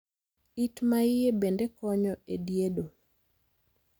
It ma iye bende koyo e diedo.